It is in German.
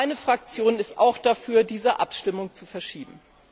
Meine Fraktion ist auch dafür, diese Abstimmung zu verschieben.